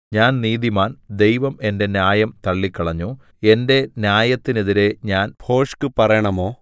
ഞാൻ നീതിമാൻ ദൈവം എന്റെ ന്യായം തള്ളിക്കളഞ്ഞു എന്റെ ന്യായത്തിനെതിരെ ഞാൻ ഭോഷ്ക്ക് പറയണമോ